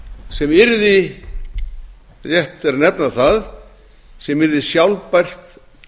sem yrði rétt er að nefna það sem yrði sjálfbært